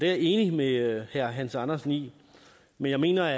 jeg enig med herre hans andersen i men jeg mener